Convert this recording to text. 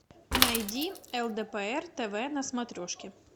найди лдпр тв на смотрешке